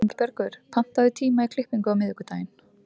Ingibergur, pantaðu tíma í klippingu á miðvikudaginn.